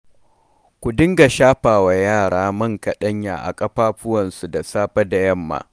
Ku dinga shafawa yara man kaɗanya a ƙafafuwansu da safe da yamma.